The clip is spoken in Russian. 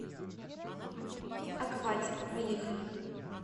акватика поехали